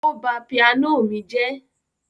Ó ba pianó mi jẹ́.